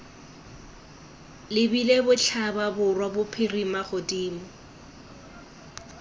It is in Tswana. lebile botlhaba borwa bophirima godimo